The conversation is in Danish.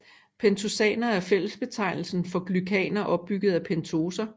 Pentosaner er en fællesbetegnelse for glykaner opbygget af pentoser